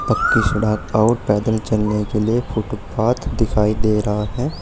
पक्की सड़क और पैदल चलने के लिए फुटपाथ दिखाई दे रहा है।